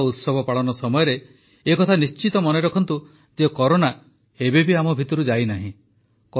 ପର୍ବ ଓ ଉତ୍ସବ ପାଳନ ସମୟରେ ଏହା ନିଶ୍ଚିତ ମନେ ରଖନ୍ତୁ ଯେ କରୋନା ଏବେ ବି ଆମ ଭିତରୁ ଯାଇନାହିଁ